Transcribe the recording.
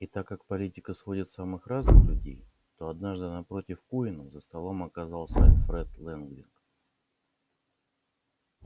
и так как политика сводит самых разных людей то однажды напротив куинна за столом оказался альфред лэнвинг